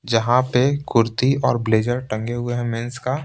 जहाँ पे कुर्ती और ब्लेजर टंगे हुए हैं मेंस का--